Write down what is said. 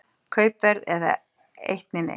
Kaupverð eða eitt né neitt.